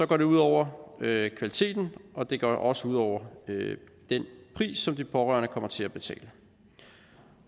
går det ud over kvaliteten og det går også ud over den pris som de pårørende kommer til at betale